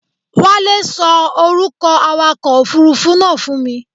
Wálé ṣọ orúkọ awakọ òfurufú náà fún mi.